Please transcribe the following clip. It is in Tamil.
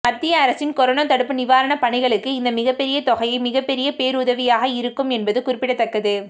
மத்திய அரசின் கொரோனா தடுப்பு நிவாரண பணிகளுக்கு இந்த மிகப்பெரிய தொகையை மிகப்பெரிய பேருதவியாக இருக்கும் என்பது குறிப்பிடத்தக்கது